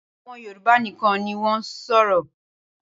Awon Yorùba nikan ni won n soro.